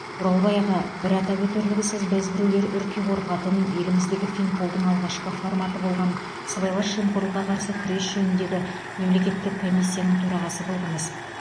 оралбай аға бір атап өтерлігі сіз бәзбіреулер үрке қорқатын еліміздегі финполдың алғашқы форматы болған сыбайлас жемқорлыққа қарсы күрес жөніндегі мемлекеттік комиссияның төрағасы болдыңыз